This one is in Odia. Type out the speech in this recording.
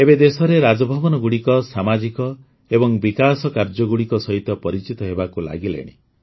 ଏବେ ଦେଶରେ ରାଜଭବନଗୁଡ଼ିକ ସାମାଜିକ ଏବଂ ବିକାଶ କାର୍ଯ୍ୟଗୁଡ଼ିକ ସହିତ ପରିଚିତ ହେବାକୁ ଲାଗିଲେଣି